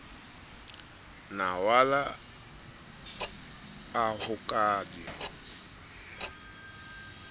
mawala a ho ka di